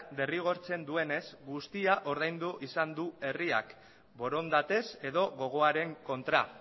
derrigortzen duenez guztia ordaindu izan du herriak borondatez edo gogoaren kontra